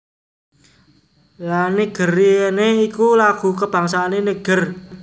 La Nigerienne iku lagu kabangsané Niger